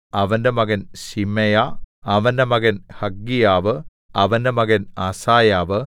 അവന്റെ മകൻ ശിമെയാ അവന്റെ മകൻ ഹഗ്ഗീയാവ് അവന്റെ മകൻ അസായാവ്